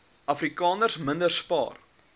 afrikaners minder spaar